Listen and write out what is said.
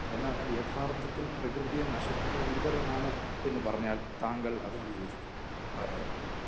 എന്നാൽ യാഥാർത്തത്തിൽ പ്രകൃതിയെ നശിപ്പിക്കുകയാണ് ഇവരാണ് എന്ന് പറഞ്ഞാൽ താങ്കൾ അതിനോട് യോജിക്കുമോ ?താങ്കളോട്?